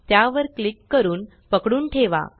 त्यावर क्लिक करून पकडून ठेवा